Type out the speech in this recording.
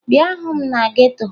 Bịa hụ m na geto!